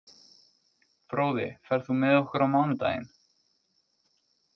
Fróði, ferð þú með okkur á mánudaginn?